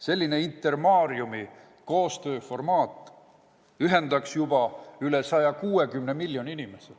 Selline Intermariumi koostööformaat ühendaks juba üle 160 miljoni inimese.